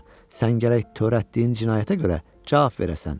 Sən gərək törətdiyin cinayətə görə cavab verəsən.